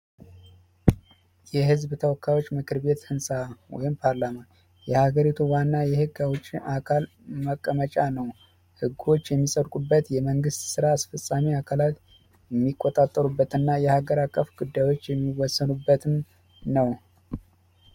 የህዝብ ተወካዮች ምክር ቤት ህንፃ ወይም ፓርላማ የሀገሪቱ ዋና የህግ ከውጪ አካል መቀመጫ ነው። ህጎች የሚሰሩበት የመንግስት ስራ አስፈጻሚ አካላት የሚቆጣጠሩበትና የሃገር አቀፍ ጉዳዮች የሚወሰዱበትን ነው።